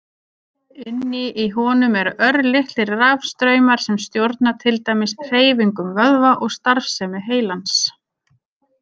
Inni í honum eru örlitlir rafstraumar sem stjórna til dæmis hreyfingum vöðva og starfsemi heilans.